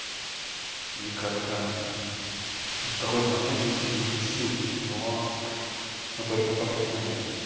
и как то в какой-то момент выслать им эти ссылки но но только в какой-то момент